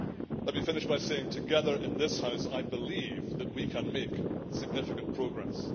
Let me finish by saying that, together in this House, I believe that we can make significant progress.